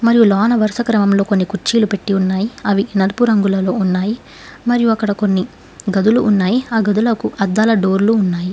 మరియు లోన వరుస క్రమంలో కొన్ని కుర్చీలు పెట్టి ఉన్నాయి అవి నలుపు రంగులలో ఉన్నాయి మరియు అక్కడ కొన్ని గదిలో ఉన్నాయి ఆ గదులకు అద్దాలు డోర్లు ఉన్నాయి.